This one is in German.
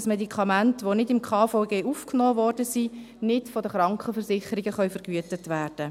Ein Medikament, welches nicht im KVG aufgenommen wurde, kann von den Krankenversicherungen nicht vergütet werden.